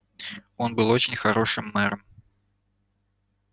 он был очень хорошим мэром